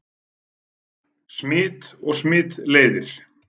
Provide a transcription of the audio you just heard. Smit og smitleiðir